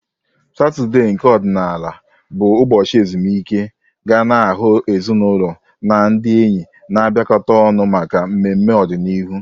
Satọde, nke ọdịnala bụ ụbọchị ezumike, ga na-ahụ ezinaụlọ na ndị enyi na-abịakọta ọnụ maka mmemme n'ọdịniihu.